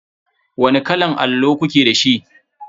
Wani kalan allo kuke da shi?